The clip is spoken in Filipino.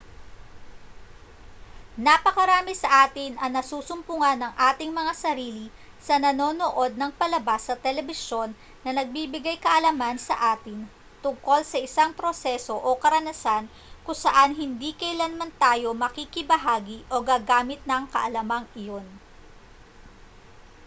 napakarami sa atin ang nasusumpungan ang ating mga sarili na nanonood ng palabas sa telebisyon na nagbibigay-kaalaman sa atin tungkol sa isang proseso o karanasan kung saan hindi kailanman tayo makikibahagi o gagamit ng kaalamang iyon